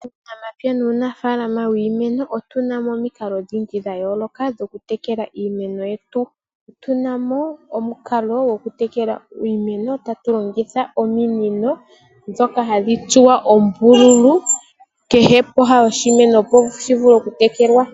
Muunamapya nuufaalama wiimeno otuna mo omikalo odhindji dha yooloka dhoku tekela iimeno yetu, otuna omukalo goku tekela iimeno taku longithwa ominino ndhoka hadhi tsuwa oombululu, kehe pooha dhoshimeno, shi vule oku tekelwa.